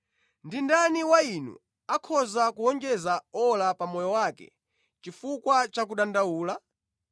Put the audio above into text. Ndi ndani wa inu akhoza kuwonjeza ora pa moyo wake chifukwa cha kudandaula?